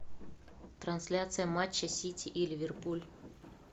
трансляция матча сити и ливерпуль